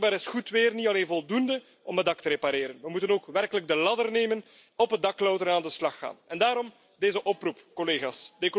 Maar blijkbaar is goed weer niet alleen voldoende om het dak te repareren. We moeten ook werkelijk de ladder nemen, op het dak klauteren en aan de slag gaan. Daarom deze oproep, collega's.